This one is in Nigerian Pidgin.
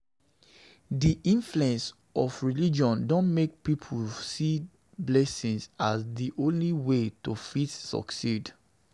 Di influence of religion don make pipo dey see blessing as di only way to fit succeed